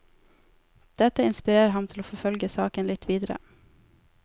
Dette inspirerer ham til å forfølge saken litt videre.